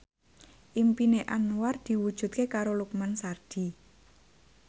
impine Anwar diwujudke karo Lukman Sardi